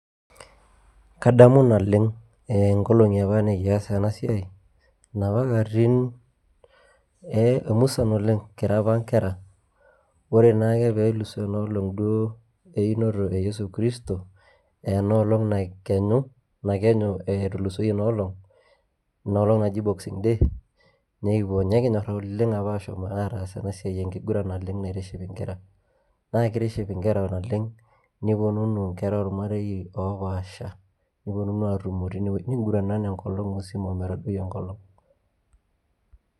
Kadamu naleng' nkolong'i apa nekias ena siai inapa katitin ee musan oleng' kira nkera. Ore naake pee elusoo ena olong' duo einoto e yesu kristo ee ena olong' nakenyu etulusoyie ina olong', ena olong' naji boxing day nekipuo nekinyor ashom apa oleng' ataas ena siai enkiguran naitiship nkera. Naa kitiship nkera naleng' niponunu nkera ormarei opaasha, niponunu atumo tine wuei ning'uranana enkolong' musima o metadoi enkolong'.